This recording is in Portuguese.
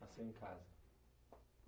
Nasceu em casa.